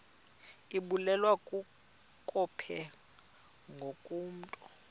ibulewe kukopha ngokomntu